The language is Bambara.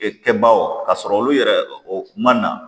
E kɛbaw ka sɔrɔ olu yɛrɛ o ma na